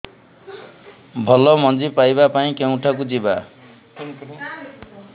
ଭଲ ମଞ୍ଜି ପାଇବା ପାଇଁ କେଉଁଠାକୁ ଯିବା